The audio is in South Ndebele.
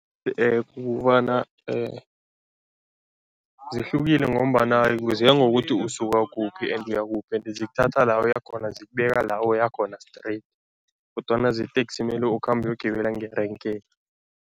Kukobana zihlukile ngombana ziyangokuthi usuka kuphi and uyakuphi ende zikuthatha la uya khona, zikubeka la uya khona straight kodwana zeteksi mele ukhambe uyogibela ngerenkeni.